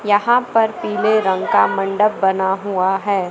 यहां पर पीले रंग का मंडप बना हुआ है।